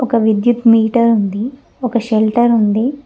ఒక విద్యుత్ మీటర్ ఉంది ఒక షెల్టర్ ఉంది.